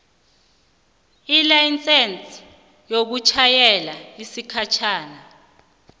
ilayisense yokutjhayela yesikhatjhana